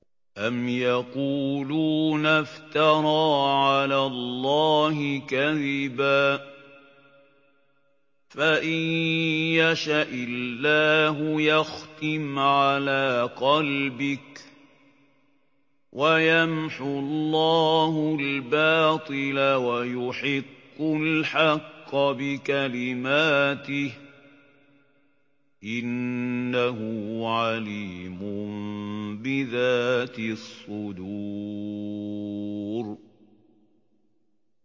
أَمْ يَقُولُونَ افْتَرَىٰ عَلَى اللَّهِ كَذِبًا ۖ فَإِن يَشَإِ اللَّهُ يَخْتِمْ عَلَىٰ قَلْبِكَ ۗ وَيَمْحُ اللَّهُ الْبَاطِلَ وَيُحِقُّ الْحَقَّ بِكَلِمَاتِهِ ۚ إِنَّهُ عَلِيمٌ بِذَاتِ الصُّدُورِ